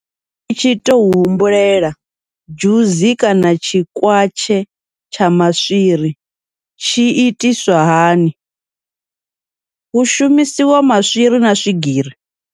Ni tshi tou humbulela dzhusi kana tshikwatshe tsha maswiri tshi itiswa hani, hu shumisiwa maswiri na swigiri.